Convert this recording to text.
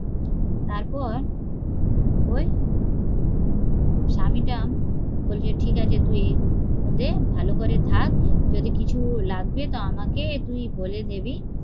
তারপর ওই স্বামী টা বলেছে ঠিকাছে তুই ভালো করে থাক, যদি কিছু লাগবে ত আমাকে তুই বলে দিবি